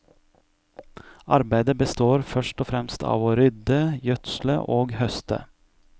Arbeidet består først og fremst av å rydde, gjødsle og høste.